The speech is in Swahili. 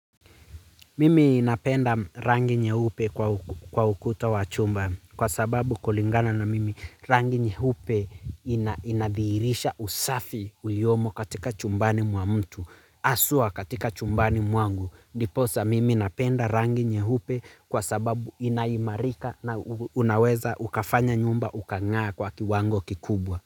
Mimi napenda rangi nyeupe kwa ukuta wa chumba kwa sababu kulingana na mimi rangi nyeupe inadhihirisha usafi uliomo katika chumbani mwa mtu. Haswa katika chumbani mwangu. Ndiposa mimi napenda rangi nyeupe kwa sababu inaimarika na unaweza ukafanya nyumba ukang'a kwa kiwango kikubwa.